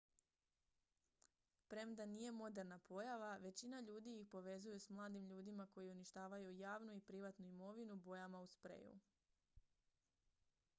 premda nije moderna pojava većina ljudi ih povezuju s mladim ljudima koji uništavaju javnu i privatnu imovinu bojama u spreju